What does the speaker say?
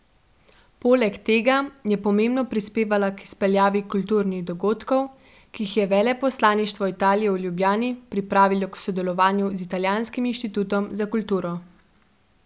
Poleg tega je pomembno prispevala k izpeljavi kulturnih dogodkov, ki jih je veleposlaništvo Italije v Ljubljani pripravilo v sodelovanju z Italijanskim inštitutom za kulturo.